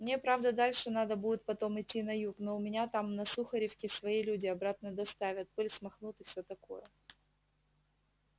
мне правда дальше надо будет потом идти на юг но у меня там на сухаревке свои люди обратно доставят пыль смахнут и все такое